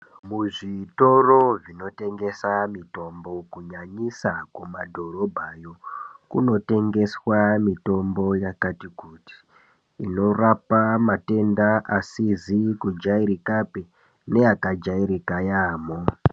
Muzvitoro zvinotengesa mitombo ,kunyanyisa kumadhorobha yo kunotengeswa mitombo yakati kuti ,inorapa matenga asizi kujairika neyaka jairika yamo.